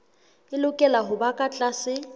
e lokela hoba ka tlase